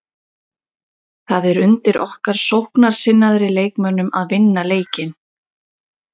Það er undir okkar sóknarsinnaðri leikmönnum að vinna leikinn.